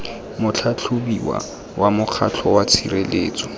motlhatlhobiwa wa mokgatlho wa tshireletso